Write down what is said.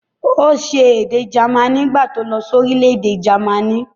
Ó se èdè jamaní nígbà tí ó lọ sí orílẹ̀-èdè jámànì.